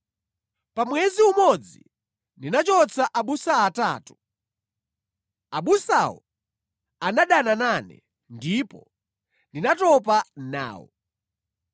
Pa mwezi umodzi ndinachotsa abusa atatu. Abusawo anadana nane, ndipo ndinatopa nawo.